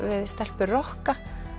við stelpur rokka